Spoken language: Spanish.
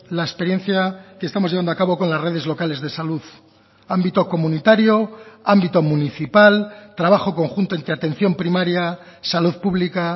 la experiencia que estamos llevando a cabo con las redes locales de salud ámbito comunitario ámbito municipal trabajo conjunto entre atención primaria salud pública